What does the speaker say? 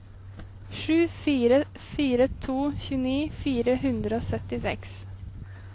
sju fire fire to tjueni fire hundre og syttiseks